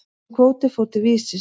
Þessi kvóti fór til Vísis.